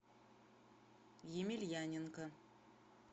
емельяненко